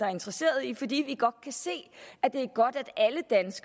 er interesseret i fordi vi kan se at det